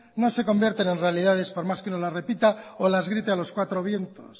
no se convierten en realidades por más que nos la repita o las grite a los cuatro vientos